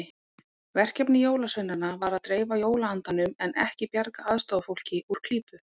Verkefni jólasveinanna var að dreifa jólaandanum en ekki bjarga aðstoðarfólki úr klípu.